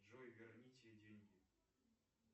джой верните деньги